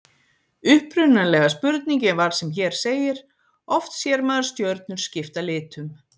Upprunalega spurningin var sem hér segir: Oft sér maður stjörnur skipta litum.